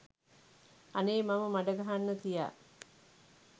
අනේ මම මඩ ගහන්න තියා